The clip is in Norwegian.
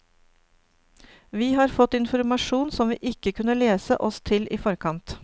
Vi har fått informasjon som vi ikke kunne lese oss til i forkant.